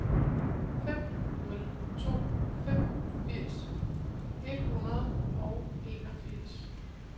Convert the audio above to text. fem nul to fem firs et hundrede og enogfirs